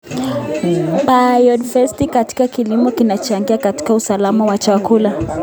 Biodiversiti katika kilimo inachangia katika usalama wa chakula.